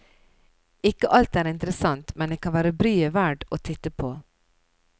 Ikke alt er interessant, men det kan være bryet verd å titte på.